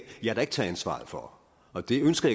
jeg da ikke tage ansvaret for og det ønsker